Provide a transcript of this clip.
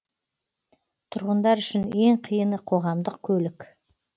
тұрғындар үшін ең қиыны қоғамдық көлік